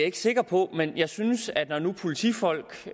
ikke sikker på men jeg synes at når nu politifolk